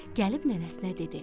Gəlib nənəsinə dedi: